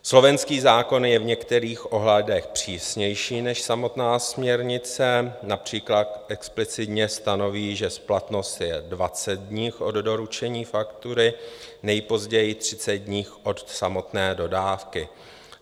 Slovenský zákon je v některých ohledech přísnější než samotná směrnice, například explicitně stanoví, že splatnost je 20 dní od doručení faktury, nejpozději 30 dní od samotné dodávky.